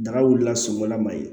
Daga wulila sɔngɔ la ma ye